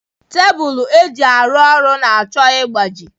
Tebụl eji arụ ọrụ na-achọ ịgbaji